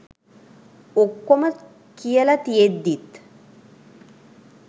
ඔක්කොම කියල තියෙද්දිත්